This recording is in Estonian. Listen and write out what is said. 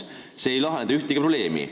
Selline tegevus ei lahenda ühtegi probleemi.